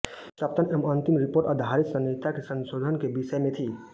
सप्तम एवं अंतिम रिपोर्ट आपराधिक संहिता के संशोधन के विषय में थी